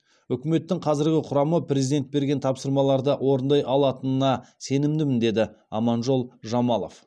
үкіметтің қазіргі құрамы президент берген тапсырмаларды орындай алатынына сенімдімін деді аманжол жамалов